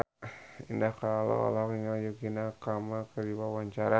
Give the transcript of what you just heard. Indah Kalalo olohok ningali Yukie Nakama keur diwawancara